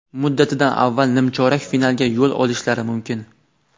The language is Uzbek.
muddatidan avval nimchorak finalga yo‘l olishlari mumkin.